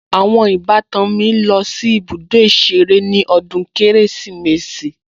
Àwọn ìbátan mi lọ sí ibùdó ìṣeré ní ọdún Kérésìmesì